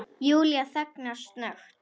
Júlía þagnar snöggt.